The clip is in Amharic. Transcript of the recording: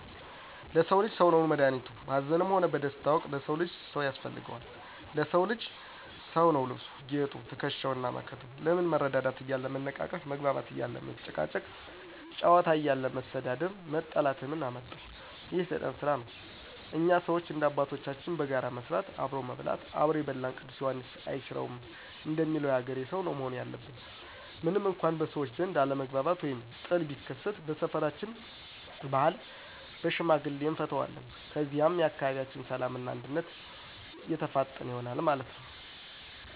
ለሰዉ ልጅ ሰዉ ነዉ መድኋኒቱ፣ በአዘንም ሆነ በደስታ ወቅት ለሰው ልጅ ሰው ያስፈልገዋል። ለሰዉ ልጅ ሰዉ ነዉ ልብሱ፣ ጌጡ፣ ትክሻዉ እና መከተው። ለምን መረዳዳት እያለ መነቃቀፍ፣ መግባባት እያለ መጨቃጨቅ፣ ጨዋታ እያለ መሰዳደብ መጠላላትን ምን አመጠው፤ ይህ የሰይጣን ስራ ነው። እኛ ሰዎች እንደ አባቶቻችን በጋራ መስራት፣ አብሮ መብላት "አብሮ የበላን ቅዱስ ዬሐንስ አይሽረውም"እንደሚለዉ የአገሬ ሰውነው ያለብን። ምንም እንኳ በሰዎች ዘንድ አለመግባባት ወይም ጥል ቢከሰት በሰፈራችን ባህል በሽምግልና አንፈተዋለን። ከዚያም የአካባቢያችን ሰላም እና እድገት የተፋጠነ ይሆናል ማለት ነው።